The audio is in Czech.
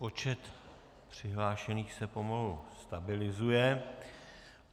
Počet přihlášených se pomalu stabilizuje.